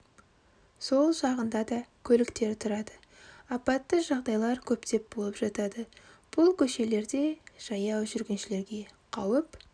сол жағында да көліктер тұрады апатты жағдайлар көптеп болып жатады бұл көшелерде жаяу жүргішілерге қауіп